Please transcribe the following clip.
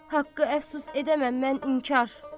Haqqı əfsus edəməm mən inkar.